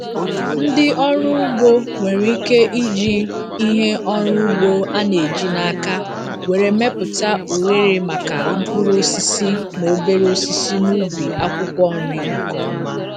Ndị ọrụ ugbo nwere ike iji ihe ọrụ ugbo a na-eji n’aka were mepụta oghere maka mkpụrụ osisi na obere osisi n'ubi akwụkwọ nri nke ọma.